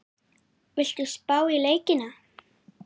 Viltu spá í leikina?